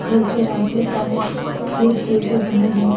घर के आगे साइड खेत जैसे बने हैं।